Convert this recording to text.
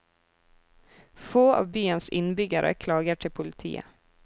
Få av byens innbyggere klager til politiet.